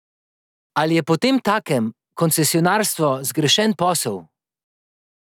Ali je potemtakem koncesionarstvo zgrešen posel?